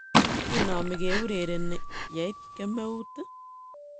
"Kinomi ke urereni yeit kemeut iih?